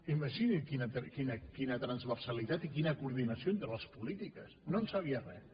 imagini’s quina transversalitat i quina coordinació entre les polítiques no en sabia res